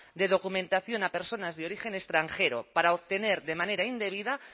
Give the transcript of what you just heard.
de documentación a personas de origen extranjero para obtener de manera indebida